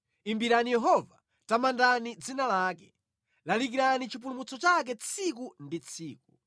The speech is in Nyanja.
Imbirani Yehova, tamandani dzina lake; lalikirani chipulumutso chake tsiku ndi tsiku.